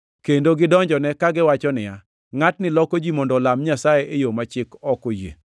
kendo gidonjone kagiwacho niya, “Ngʼatni loko ji mondo olam Nyasaye e yo ma chik ok oyie.”